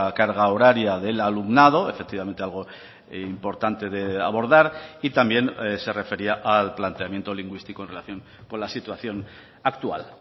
carga horaria del alumnado efectivamente algo importante de abordar y también se refería al planteamiento lingüístico en relación con la situación actual